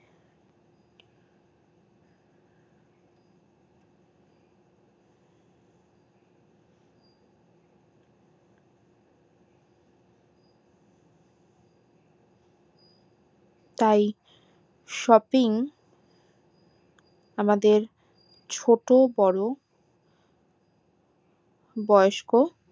তাই shopping আমাদের ছোটো বড়ো বয়স্ক